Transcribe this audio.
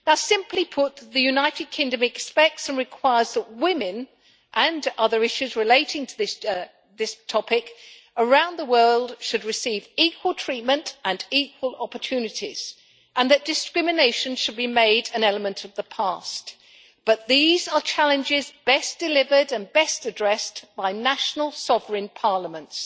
Simply put, the United Kingdom expects and requires that women, and other issues relating to this topic, around the world should receive equal treatment and equal opportunities and that discrimination should be made an element of the past. These are challenges best delivered and best addressed by national, sovereign parliaments.